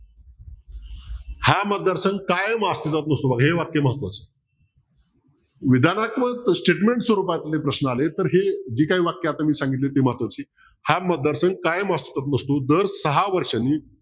हा मतदार संघ कायम अस्तित्वात नसतो बघा हे वाक्य महत्वाचं विधानात्मक statement स्वरूपात हे प्रश्न आले तर हे जी काही वाक्य मी सांगितली ती महत्वाची हा मतदार संघ कायम अस्तित्वात नसतो तर दार सहा वर्षांनी